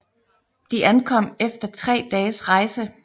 De ankom efter tre dages rejse